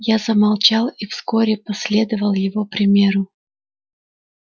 я замолчал и вскоре последовал его примеру